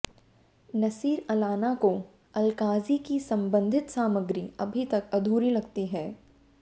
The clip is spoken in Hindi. नसीर अलाना को अलकाज़ी की संबंधित सामग्री अभी तक अधूरी लगती है